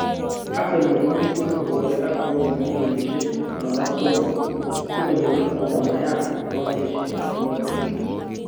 Arsenal komiten korwae ak pauni millinishek 53 sikonyor Aubameyang 28